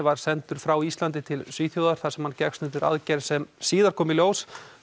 var sendur frá Íslandi til Svíþjóðar þar sem hann gekkst undir aðgerð sem síðar kom í ljós